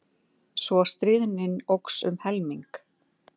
Svo stríðnin óx um helming.